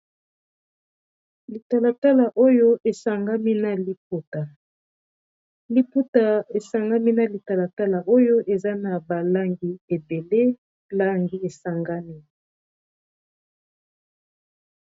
litalatala oyo esangami na liputa, liputa esangami na litalatala oyo eza na balangi ebele langi esangami